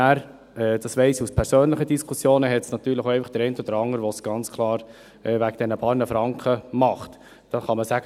Ich weiss jedoch aus persönlichen Gesprächen, dass es auch den einen oder anderen gibt, der es wegen der paar Franken tun würde.